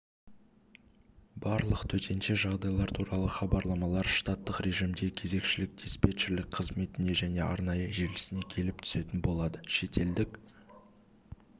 барлық төтенше жағдайлар туралы хабарламалар штаттық режимде кезекшілік-диспетчерлік қызметіне және арнайы желісіне келіп түсетін болады шетелдік